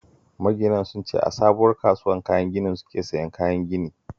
Maginan sun ce a sabuwar kasuwar kayan ginin suke siyan kayan gini